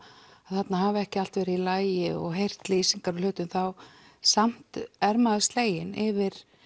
að þarna hafi ekki allt verið í lagi og heyrt lýsingar á hlutum þá samt er maður sleginn yfir